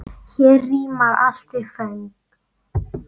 Hér rímar allt við föng.